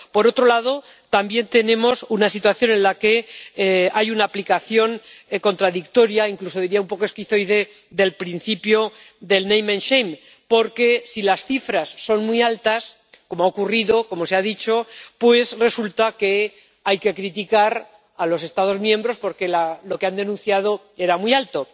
Por otro lado, también tenemos una situación en la que hay una aplicación contradictoria, incluso diría un poco esquizoide, del principio del name and shame porque si las cifras son muy altas —como ha ocurrido, como se ha dicho— pues resulta que hay que criticar a los Estados miembros porque lo que han denunciado era muy alto